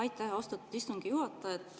Aitäh, austatud istungi juhataja!